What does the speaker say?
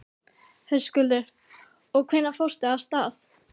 Höskuldur: Og hvenær fórstu af stað?